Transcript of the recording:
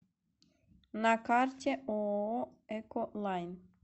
на карте ооо эколайн